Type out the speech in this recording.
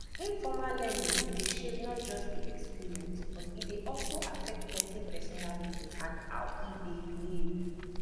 informal learning dey shape not just di experience but e dey also affect person personality and how e dey behave